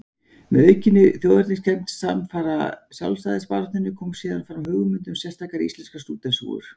Með aukinni þjóðerniskennd samfara sjálfstæðisbaráttunni kom síðan fram hugmynd um sérstakar íslenskar stúdentshúfur.